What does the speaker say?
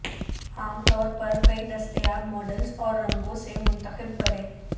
عام طور پر کئی دستیاب ماڈلز اور رنگوں سے منتخب کریں